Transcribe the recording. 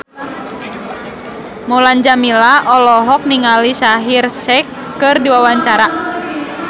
Mulan Jameela olohok ningali Shaheer Sheikh keur diwawancara